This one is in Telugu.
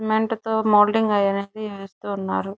సిమెంట్ తో మోల్డింగ్ అనేది వేస్తూ ఉన్నారు.